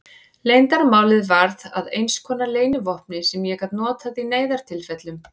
Leyndarmálið varð að einskonar leynivopni sem ég gat notað í neyðartilfellum.